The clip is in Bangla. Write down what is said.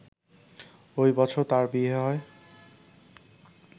ওই বছর তার বিয়ে হয়